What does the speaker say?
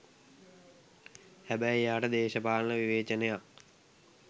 හැබැයි එයාට දේශපාලන විවේචනයක්